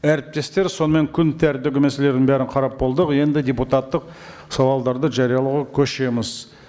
әріптестер сонымен күн тәртібі мәселелерін бәрін қарап болдық енді депутаттық сауалдарды жариялауға көшеміз